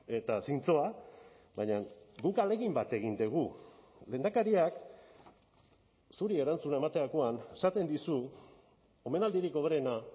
eta zintzoa baina guk ahalegin bat egin dugu lehendakariak zuri erantzuna ematerakoan esaten dizu omenaldirik hoberena